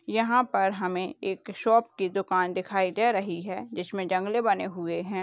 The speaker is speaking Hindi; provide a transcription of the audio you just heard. यहां पर हमें एक शॉप की दुकान दिखाई दे रही है जिसमे जंगले बने हुए हैं।